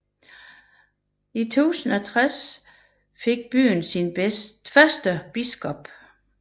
I 1060 fik byen sin første biskop